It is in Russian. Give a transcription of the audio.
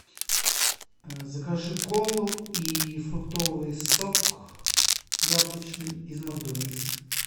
закажи колу и фруктовый сок яблочный из макдональдса